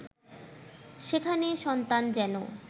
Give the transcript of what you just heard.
সেখানে সন্তান যেন